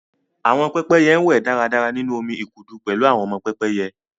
Àwọn pẹ́pẹ́yẹ ń wẹ̀ dáradára nínú omi ìkùdu pẹ̀lú àwọn ọmọ pẹ́pẹ́yẹ